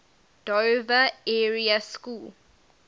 dover area school